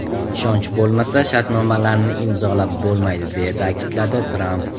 Ishonch bo‘lmasa shartnomalarni imzolab bo‘lmaydi!” deya ta’kidladi Tramp.